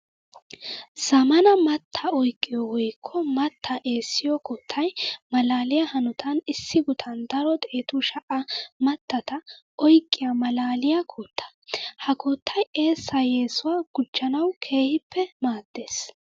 Zamaana mattaa oyqqiyo woykko mattaa eesiyo koottay malaalliya hanotan issi guttan daro xeettu sha'a mattata oyqqiya malaaliya kootta. Ha koottay eessa yesuwa gujanawu keehippe maades.